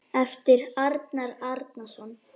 eftir Arnar Árnason